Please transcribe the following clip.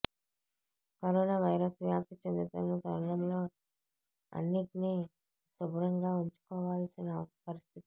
corona virus వ్యాప్తి చెందుతున్న తరుణంలో అన్నిటినీ శుభ్రంగా ఉంచుకోవాల్సిన పరిస్థితి